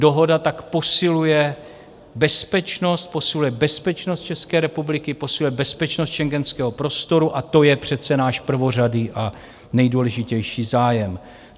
Dohoda tak posiluje bezpečnost, posiluje bezpečnost České republiky, posiluje bezpečnost schengenského prostoru, a to je přece náš prvořadý a nejdůležitější zájem.